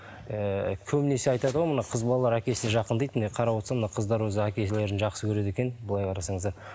ііі көбінесе айтады ғой мына қыз балалар әкесіне жақын дейді міне қарап отырсам мына қыздар өзі әкелерін жақсы көреді екен былай қарасаңыздар